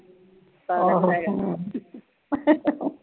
ਆਹੋ